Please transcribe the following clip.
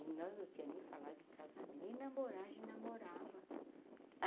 E nós não tinha nem falado em casamento, nem namorar a gente namorava.